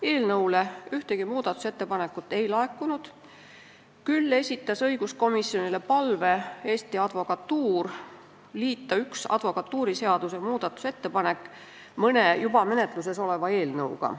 Eelnõu kohta ühtegi muudatusettepanekut ei laekunud, küll aga esitas Eesti Advokatuur õiguskomisjonile palve liita üks advokatuuriseaduse muudatusettepanek mõne juba menetluses oleva eelnõuga.